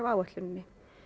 áætluninni